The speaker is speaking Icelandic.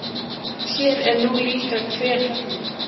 Sér er nú líka hver höllin.